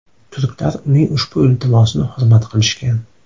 Turklar uning ushbu iltimosini hurmat qilishgan.